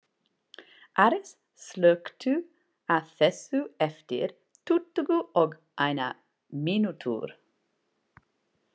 Aris, slökktu á þessu eftir tuttugu og eina mínútur.